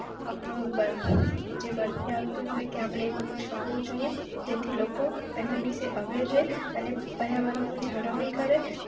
આપડો જે birthday હોય કે અપડે એક વૃક્ષ વાવો જોઈએ જેથી લોકો એના વિશે aware રેહ અને પર્યાવરણ નું જાળવણી કરેં.